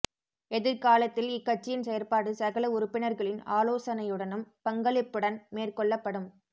எதிர் காலத்தில் இக்கட்சியின் செயற்பாடு சகல உறுப்பினர்களின் ஆலோசனையுடனும் பங்களிப்புடன் மேற்கொள்ளப்படும்